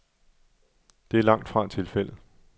Det er langt fra tilfældet.